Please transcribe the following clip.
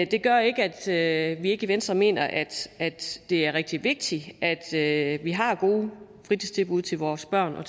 det gør ikke at vi ikke i venstre mener at det er rigtig vigtigt at at vi har gode fritidstilbud til vores børn og